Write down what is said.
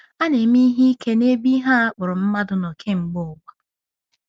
A na-eme ihe ike n'ebe ihe a kpọrọ mmadụ nọ kemgbe ụwa.